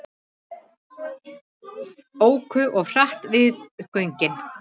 Óku of hratt við göngin